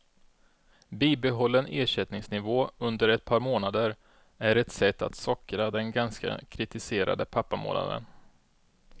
Bibehållen ersättningsnivå under ett par månader är ett sätt att sockra den ganska kritiserade pappamånaden.